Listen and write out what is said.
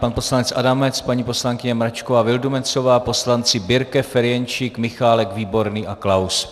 Pan poslanec Adamec, paní poslankyně Mračková Vildumetzová, poslanci Birke, Ferjenčík, Michálek, Výborný a Klaus.